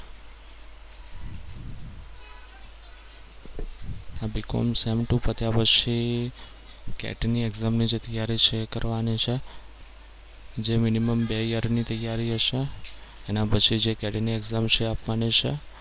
BCOMsem two પત્યા પછી CAT ની exam ની જે તૈયારી જે છે એ કરવાની છે. જે minimum બે year ની તૈયારી હશે. એના પછી જે કેટી ની exam જે છે એ આપવાની છે.